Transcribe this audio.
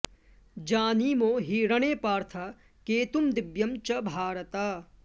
जानीमो हि रणे पार्थ केतुं दिव्यं च भारत